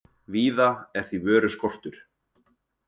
Víða er því vöruskortur